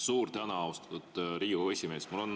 Suur tänu, austatud Riigikogu esimees!